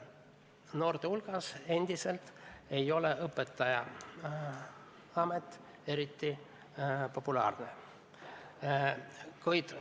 Noorte hulgas ei ole endiselt õpetajaamet eriti populaarne.